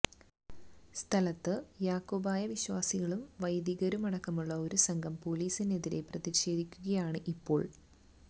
സ്ഥലത്ത് യാക്കോബായ വിശ്വാസികളും വൈദികരുമടക്കമുള്ള ഒരു സംഘം പൊലീസിനെതിരെ പ്രതിഷേധിക്കുകയാണ് ഇപ്പോൾ